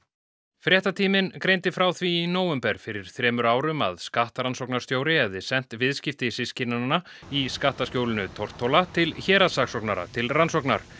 fréttatíminn greindi frá því í nóvember fyrir þremur árum að skattrannsóknarstjóri hefði sent viðskipti systkinanna í skattaskjólinu Tortóla til héraðssaksóknara til rannsóknar